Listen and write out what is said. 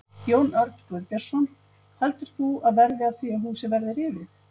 Jón Örn Guðbjartsson: Heldur þú að verði af því að húsið verði rifið?